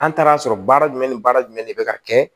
An taara'a sɔrɔ baara jumɛn ni baara jumɛn de bɛ ka kɛ